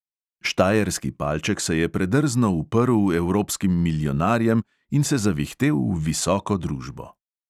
Štajerski palček se je predrzno uprl evropskim milijonarjem in se zavihtel v visoko družbo.